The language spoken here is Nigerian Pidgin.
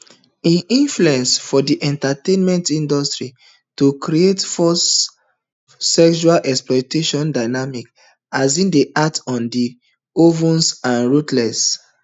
im influence for di entertainment industry to create forced sexually exploitative dynamic as im dey act on the oval and ruthless